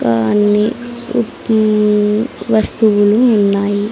ఆ అన్ని ఉక్ ఉమ్ వస్తువులు ఉన్నాయి.